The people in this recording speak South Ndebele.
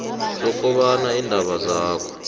sokobana iindaba zakho